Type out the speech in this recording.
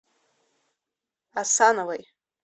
асановой